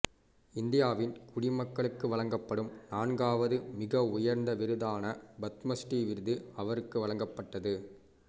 இந்தியாவின் குடிமக்களுக்கு வழங்கப்படும் நான்காவது மிக உயர்ந்த விருதான பத்மஸ்ரீ விருது அவருக்கு வழங்கப்பட்டது